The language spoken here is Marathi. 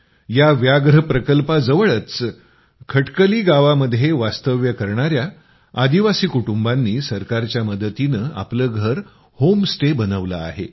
या व्याघ्र प्रकल्पाजवळच खटकली गावामध्ये वास्तव्य करणाया आदिवासी कुटुंबांनी सरकारच्या मदतीनं आपलं घर होम स्टे बनवलं आहे